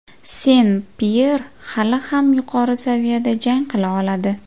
Sen-Pyer hali ham yuqori saviyada jang qila oladi.